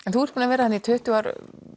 en þú ert búin að vera þarna í tuttugu ár